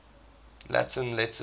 latin letters